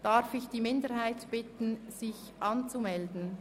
Grossrätin Stucki erläutert diese nun.